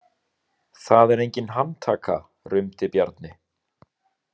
Það er engin handtaka, rumdi Bjarni.